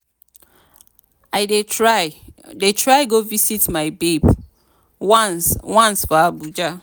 i dey try dey try go visit my babe once once for abuja.